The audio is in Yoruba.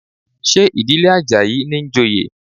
Ṣé ìdílé Àjàyí ní ń joyè?